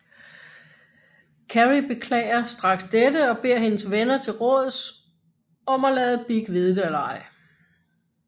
Carrie beklager straks dette og beder hendes venner til råds om at lade Big vide det eller ej